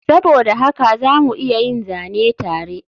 Saboda haka za mu iya yin zane tare